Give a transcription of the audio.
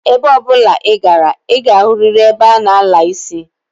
Ebe obula I gara, I ga-ahuriri ebe a na-ala isi.